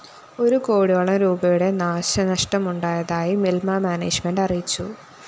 ഒരു കോടിയോളം രൂപയുടെ നാശനഷ്ടമുണ്ടായതായി മില്‍മ മാനേജ്മെന്റ്‌ അറിയിച്ചു